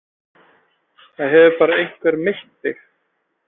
Það hefur bara einhver meitt þig.